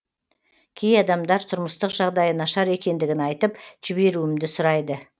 кей адамдар тұрмыстық жағдайы нашар екендігін айтып жіберуімді сұрайды